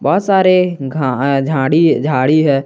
बहोत सारे घ झाड़ी झाड़ी है।